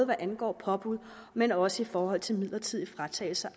hvad angår påbud men også i forhold til midlertidig fratagelse